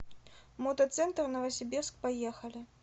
мотоцентр новосибирск поехали